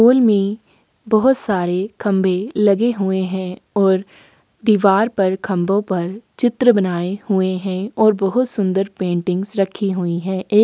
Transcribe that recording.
hall में बहुत सारे खंबे लगे हुए है और दिवार पर खंबो पर चित्र बनाए हुए है और बहुत सुंदर पेंटिंगस रखी हुई है ए --